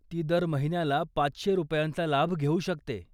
ती दर महिन्याला पाचशे रुपयांचा लाभ घेऊ शकते.